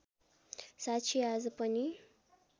साक्षी आज पनि